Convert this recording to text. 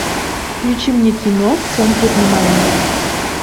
включи мне кино в центре внимания